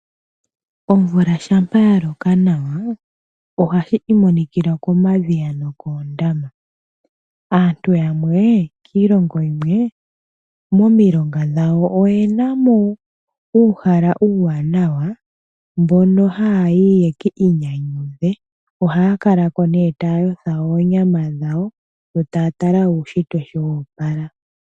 Omvula shampa ya loka nawa ohashi imonikila komadhiya noondama. Aantu yamwe kiilongo yimwe momilonga dhawo oyena mo uuhala uuwanawa mono haya yi ye kiinyanyudhe taya yotha oonyama dhawo yo taya tala uushitwe nkene woopala.